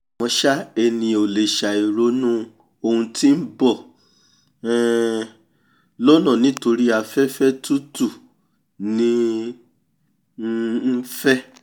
àmọ́ ṣá ènìyàn ò lè ṣàì ronú oun tí n bọ̀ um lọ́nà níori pé afẹ́fẹ́ tútù ní um ń fẹ́